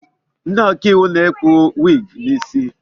Ndị ọkaiwu na-ekpu wiigi n'osi.